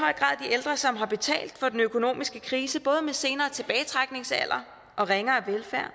ældre som har betalt for den økonomiske krise både med senere tilbagetrækningsalder og ringere velfærd og